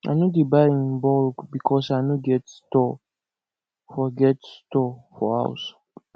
i no dey buy in bulk because i no get store for get store for house